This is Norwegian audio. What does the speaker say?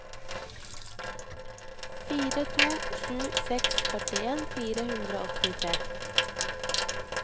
fire to sju seks førtien fire hundre og åttitre